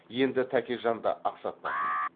енді тәкежанды ақсатпасын